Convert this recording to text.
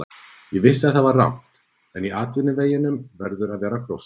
Ég vissi að það var rangt, en í atvinnuvegunum verður að vera gróska.